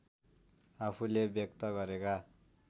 आफूले व्यक्त गरेका